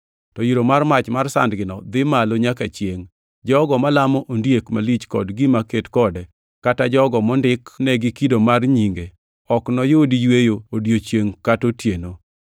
To iro mar mach mar sandgino dhi malo nyaka chiengʼ. Jogo malamo ondiek malich kod gima ket kode, kata jogo mondik negi kido mar nyinge, ok noyud yweyo odiechiengʼ kata otieno.”